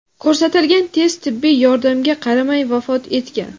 ko‘rsatilgan tez tibbiy yordamga qaramay vafot etgan.